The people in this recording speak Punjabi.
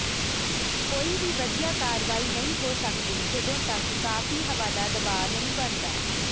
ਕੋਈ ਵੀ ਵਧੀਆ ਕਾਰਵਾਈ ਨਹੀਂ ਹੋ ਸਕਦੀ ਜਦੋਂ ਤੱਕ ਕਾਫ਼ੀ ਹਵਾ ਦਾ ਦਬਾਅ ਨਹੀਂ ਬਣਦਾ